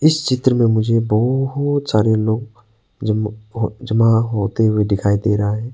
इस चित्र में मुझे बहोत सारे लोग जम हो जमा होते हुए दिखाई दे रहा है।